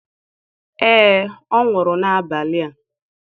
Ee, ọ nwụrụ n'abalị a.